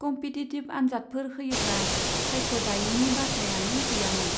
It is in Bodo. कम्पिटिटिभ आन्जादफोर होयोब्ला सायख'जायैनि बाथ्रायानो गैयामोन।